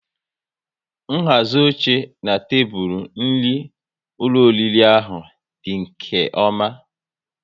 Nhazi oche na tebụl nri n'ụlọ oriri ahụ dị nke ọma